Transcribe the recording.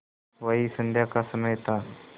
वही संध्या का समय था